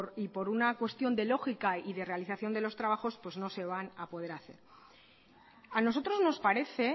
y por una cuestión de lógica y de realización de los trabajos pues no se van a poder hacer a nosotros nos parece